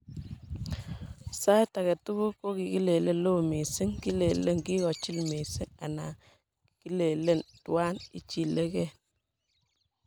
Saiit agetugul ko kilele loo missing, kilelelen kigochilil missing anan kilelen twan ichilili gen.